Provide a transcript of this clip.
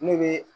Ne bɛ